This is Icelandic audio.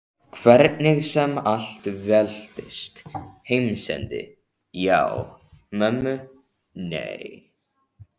Hvernig sem allt veltist. heimsendi já, mömmu nei.